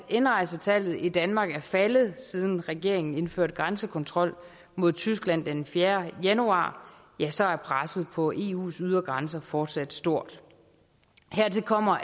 indrejsetallet i danmark er faldet siden regeringen indførte grænsekontrol mod tyskland den fjerde januar ja så er presset på eus ydre grænser fortsat stort hertil kommer